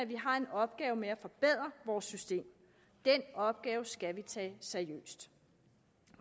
vi har en opgave med at forbedre vores system den opgave skal vi tage seriøst